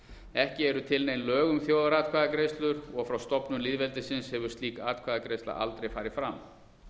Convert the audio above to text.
ekki eru til nein lög um þjóðaratkvæðagreiðslur og frá stofnun lýðveldisins hefur slík atkvæðagreiðsla aldrei farið fram